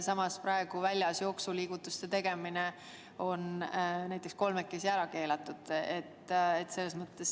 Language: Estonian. Samas on praegu väljas jooksuliigutuste tegemine näiteks kolmekesi ära keelatud.